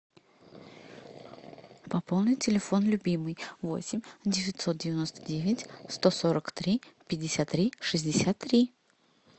пополнить телефон любимый восемь девятьсот девяносто девять сто сорок три пятьдесят три шестьдесят три